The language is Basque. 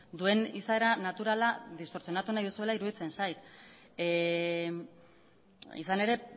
duen izaera naturala distortsionatu nahi duzuela iruditzen zait izan ere